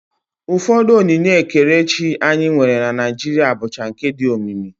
Ụfọdụ onyinye ekerechi anyị nwere na Naijiria bụcha nke dị omimi